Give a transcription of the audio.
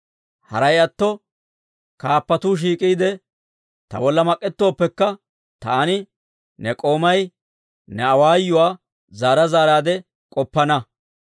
Haray atto kaappatuu shiik'iide, ta bolla mak'ettooppekka, taani, ne k'oomay, ne awaayuwaa zaara zaaraadde k'oppana.